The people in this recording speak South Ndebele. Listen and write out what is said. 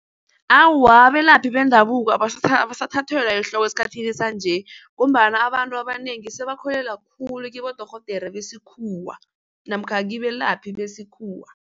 Awa, abelaphi bendabuko abasathathelwa ehloko esikhathini sanje ngombana abantu abanengi sebakholelwa khulu kibodorhodera besikhuwa namkha kibelaphi besikhuwa.